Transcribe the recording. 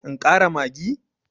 In ƙara maggi?